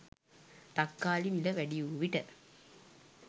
තක්කාලි මිල වැඩිවූ විට